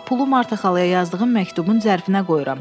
Bax pulu Marxa Xalaya yazdığım məktubun zərfinə qoyuram.